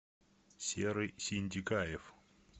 серый синдикаев